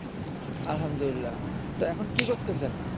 আলহামদুলিল্লাহ তো এখন কি করতেছেন